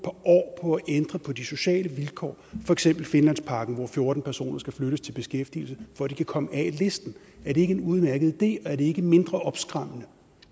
år på at ændre på de sociale vilkår for eksempel finlandsparken hvor fjorten personer skal flyttes til beskæftigelse for at de kan komme af listen er det ikke en udmærket idé og er det ikke mindre opskræmmende